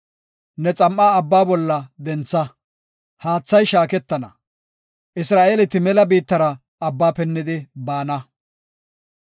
Ne xam7a Abbaa bolla dentha; haathay shaaketana. Isra7eeleti mela biittara Abbaa pinnidi baana.